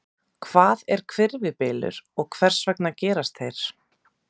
Hvað er hvirfilbylur og hvers vegna gerast þeir?